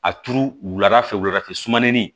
A turu wulada fɛ wuladafɛ sumanin